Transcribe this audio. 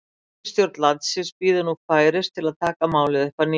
Ríkisstjórn landsins bíður nú færis til að taka málið upp að nýju.